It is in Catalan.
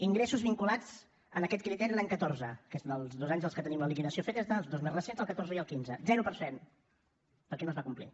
ingressos vinculats a aquest criteri l’any catorze que és dels dos anys dels que tenim la liquidació feta els dos més recents el catorze i el quinze zero per cent perquè no es va complir